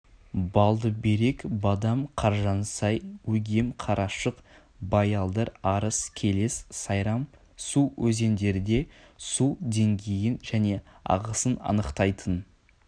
балдыберек бадам қаржансай өгем қарашық баялдыр арыс келес сайрам-су өзендерде су деңгейін және ағысын анықтайтын